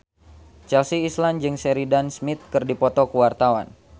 Chelsea Islan jeung Sheridan Smith keur dipoto ku wartawan